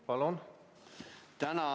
Palun!